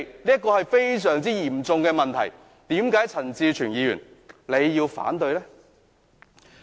這是非常嚴重的問題，為何陳志全議員要反對呢？